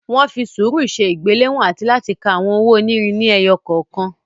Wọ́n fi sùúrù ṣe ìgbéléwọ̀n àti láti ka àwọn owó onírin ni ẹyọ kọ̀ọ̀kan.